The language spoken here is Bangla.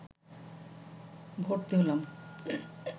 ভর্তি হলাম